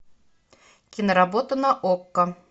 киноработа на окко